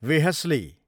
वेहश्ली